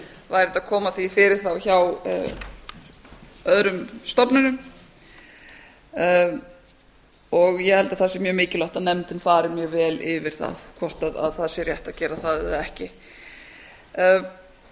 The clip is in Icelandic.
væri hægt að koma því fyrir hjá öðrum stofnunum ég held að það sé mjög mikilvægt að nefndin fari mjög vel yfir það hvort það sé rétt að gera það eða ekki ég